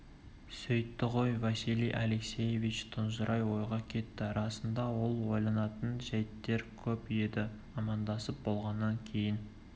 сөйтті ғой василий алексеевич тұнжырай ойға кетті расында ол ойланатын жәйттер көп еді амандасып болғаннан кейін